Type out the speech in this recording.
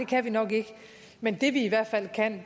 kan vi nok ikke men det vi hvert fald kan